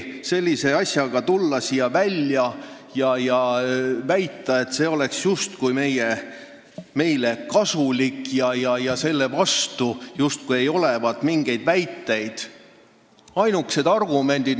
Sellise asjaga siin välja tulla ja öelda, et see on meile justkui kasulik ja selle vastu ei olevat mingeid väiteid, on täiesti hullumeelne.